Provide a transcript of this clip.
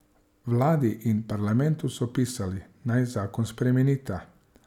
Vladi in parlamentu so pisali, naj zakon spremenita.